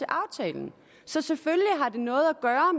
aftalen så selvfølgelig har det noget